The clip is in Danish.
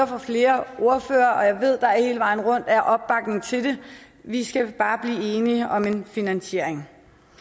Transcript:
fra flere ordførere og jeg ved at der hele vejen rundt er opbakning til det vi skal bare blive enige om en finansiering